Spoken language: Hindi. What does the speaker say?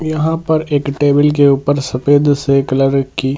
यहां पर एक टेबल के ऊपर सफेद से कलर की --